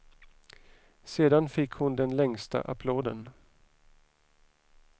Sedan fick hon den längsta applåden.